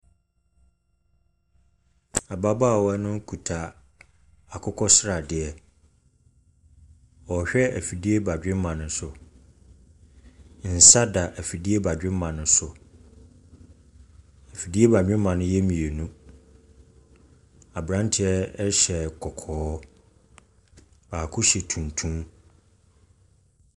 Ababaawa no kuta akokɔ sradeɛ. Ɔrehwɛ afidie badwemma no so. Nsa da afidie badwemma no so. Afidie badwemma no yɛ mmienu. Aberanteɛ hyɛ kɔkɔɔ, baako hyɛ tuntum.